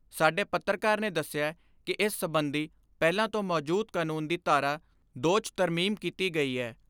ਸਾਡੇ ਪੱਤਰਕਾਰ ਨੇ ਦਸਿਐ ਕਿ ਇਸ ਸਬੰਧੀ ਪਹਿਲਾਂ ਤੋਂ ਮੌਜੂਦ ਕਾਨੂੰਨ ਦੀ ਧਾਰਾ ਦੋ 'ਚ ਤਰਮੀਮ ਕੀਤੀ ਗਈ ਏ।